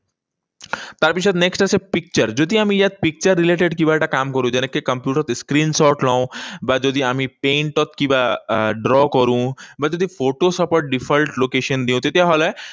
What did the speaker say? তাৰপিছত next আছে picture, যদি আমি ইয়াত picture related কিবা এটা কাম কৰোঁ, যেনেকৈ কম্পিউটাৰত screenshot লও, বা যদি আমি paint ত কিবা আহ draw কৰোঁ, বা যদি photoshop ৰ default location দিও, তেতিয়াহলে এই